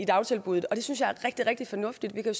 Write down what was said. dagtilbuddet og det synes jeg er rigtig rigtig fornuftigt vi kan